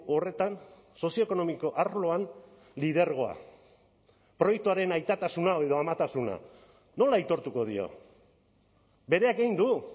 horretan sozioekonomiko arloan lidergoa proiektuaren aitatasuna edo amatasuna nola aitortuko dio bereak egin du